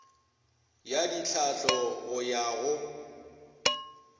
ya ditlhahlo go ya go